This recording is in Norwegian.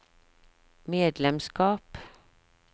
medlemskap